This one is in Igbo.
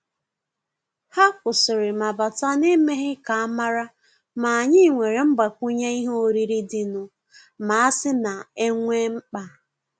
Hà kwụ́sị́rị̀ mà bátà n’èmèghị́ ká ámàrà, mà ànyị́ nwéré mgbàkwùnyé ìhè órírí dì nụ́, mà àsị́ nà é nwé mkpá.